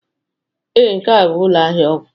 Ee, nke a bụ ụlọ ahịa ọgwụ